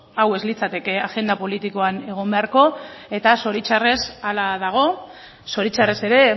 hau ez litzateke agenda politikoan egon beharko eta zoritxarrez hala dago zoritxarrez ere